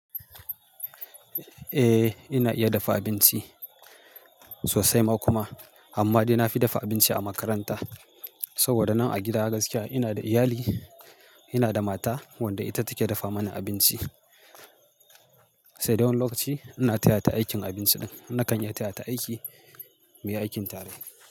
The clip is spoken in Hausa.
Eh ina iya dafa abinci sosai ma kuma. Amma dai na fi dafa abinci a makaranta saboda nan a gida gaskiya ina da iyali, ina da mata wadda ita take dafa mana abinci. Sai dai wani lokaci ina tayata aikin abinci nan, na kan iya tayata aiki, muyi aikin tare.